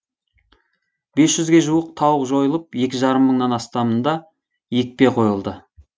бес жүзге жуық тауық жойылып екі жарым мыңнан астамында екпе қойылды